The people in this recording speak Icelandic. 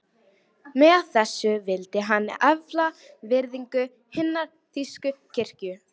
Með þessu vildi hann efla virðingu hinnar þýsku kirkju.